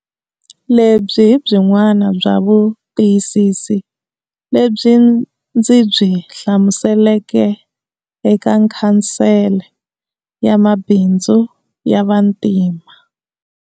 Lebyi hi byin'wana bya vutiyisisi lebyi ndzi byi hlamuseleke eka Khansele ya Mabindzu ya Vantima.